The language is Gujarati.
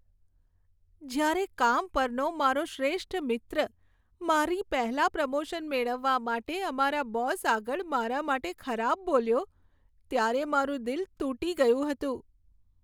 જ્યારે કામ પરનો મારો શ્રેષ્ઠ મિત્ર મારી પહેલાં પ્રમોશન મેળવવા માટે અમારા બોસ આગળ મારા માટે ખરાબ બોલ્યો ત્યારે મારું દિલ તૂટી ગયું હતું.